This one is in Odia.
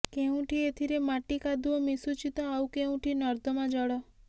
କେଉଁଠି ଏଥିରେ ମାଟି କାଦୁଅ ମିଶୁଛି ତ ଆଉ କେଉଁଠି ନର୍ଦ୍ଦମାଜଳ